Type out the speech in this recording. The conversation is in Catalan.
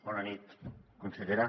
bona nit consellera